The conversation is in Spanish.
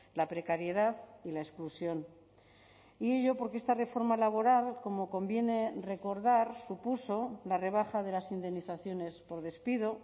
la precariedad y la exclusión y ello porque esta reforma laboral como conviene recordar supuso la rebaja de las indemnizaciones por despido